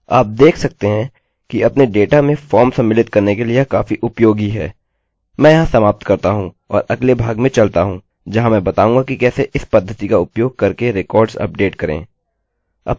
मैं यहाँ समाप्त करता हूँ और अगले भाग में चलता हूँ जहाँ मैं बताऊँगा कि कैसे इस पद्धति का उपयोग करके रिकार्ड्सअभिलेखों अपडेट करें